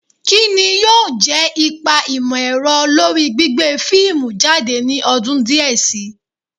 Kí ni yóò jẹ́ ipa ìmọ̀-ẹ̀rọ lórí gbígbé fíìmù jáde ní ọdún díẹ̀ si